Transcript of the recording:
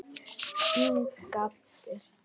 Hún gapir.